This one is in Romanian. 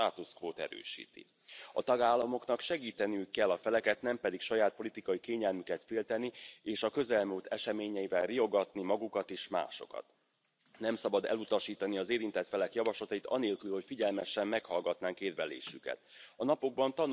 Domnule Weber, România merită să intre în spațiul Schengen, pentru că România și a îndeplinit toate obligațiile față de Europa, iar cetățenii români au drepturi egale cu ceilalți cetățeni europeni. Felul în care dumneavoastră și alți colegi atacați România nu face decât să slăbească încrederea cetățenilor români în proiectul european.